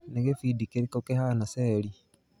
Nĩ gĩbindi kĩrĩkũ kĩhana Seli?